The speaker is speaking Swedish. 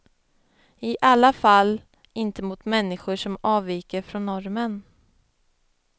I alla fall inte mot människor som avviker från normen.